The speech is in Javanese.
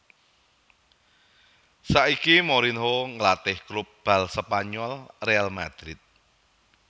Saiki Mourinho ngelatih klub bal Spanyol Real Madrid